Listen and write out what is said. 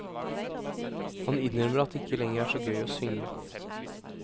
Han innrømmer at det ikke lenger er så gøy å synge.